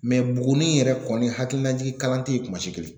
Mɛ Buguni yɛrɛ kɔni hakilinajigin kalan tɛ ye kuma si kelen